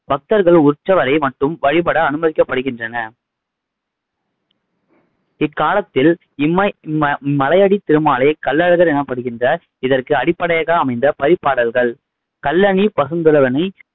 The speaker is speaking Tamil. பக்தர்கள் உற்சவரை மட்டும் வழிபட அனுமதிக்கப்படுகிறனர் இக்காலத்தில் இம்மை இம்ம மலையடி திருமாலை கள்ளழகர் எனப்படுகின்ற இதற்கு அடிப்படையாக அமைந்த பரிபாடல்கள் கள்ளணி பசுந்துளவனை